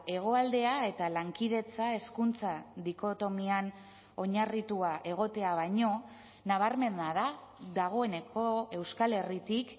hegoaldea eta lankidetza hezkuntza dikotomian oinarritua egotea baino nabarmena da dagoeneko euskal herritik